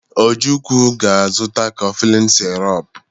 Ojukwu ga-azụta koflịn sirop.